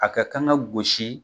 A ka kan ka gosi.